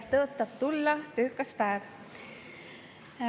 Tõotab tulla töökas päev.